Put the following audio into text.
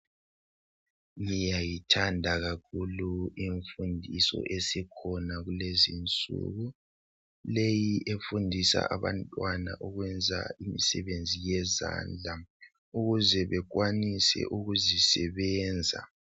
Ngiyayithanda kakhulu imfundiso sesikhona kulezinsuku leyi efundisa abantwana ukwenza imisebenzi yezandla ukuze bekwanise ukuzisebenza.